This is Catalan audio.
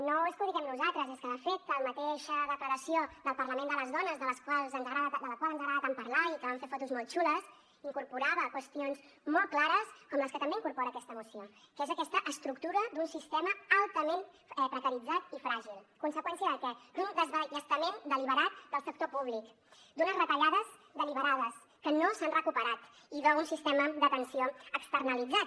no és que ho diguem nosaltres és que de fet la mateixa declaració del parlament de les dones del qual ens agrada tant parlar i que vam fer fotos molt xules incorporava qüestions molt clares com les que també incorpora aquesta moció que és aquesta estructura d’un sistema altament precaritzat i fràgil conseqüència de què d’un desballestament deliberat del sector públic d’unes retallades deliberades que no s’han recuperat i d’un sistema d’atenció externalitzat